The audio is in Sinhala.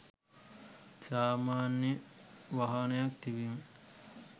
සාමාන්‍ය වාහනයක් තිබීම